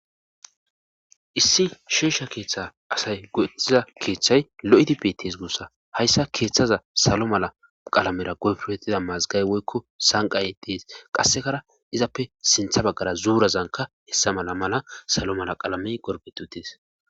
issi sheesha keeththa asay go'ettiza keeththay lo7idi pitis guussa hayssa keeththaza salo mala qalamera goyfruhettida maazigay woykko sanqaye tiis qassekara izappe sintha baggara zuurazanka hessa mala mala salo mala qalamey gorfeti utis